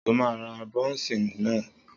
Sọ ma ra bónsì náà?